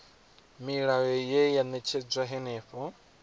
milayo ye ya ṅetshedzwa henefho